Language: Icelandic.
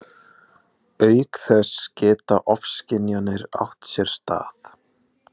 Auk þess geta ofskynjanir átt sér stað.